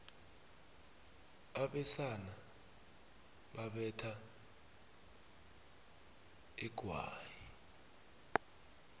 abesana babetha inghwani